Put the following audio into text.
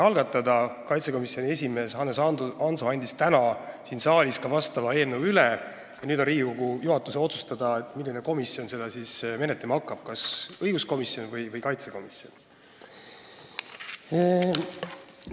Riigikaitsekomisjoni esimees Hannes Hanso andis täna siin saalis vastava eelnõu ka üle ja nüüd on Riigikogu juhatuse otsustada, milline komisjon seda siis menetlema hakkab – kas õiguskomisjon või riigikaitsekomisjon.